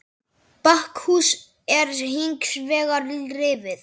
Bakhús er hins vegar rifið.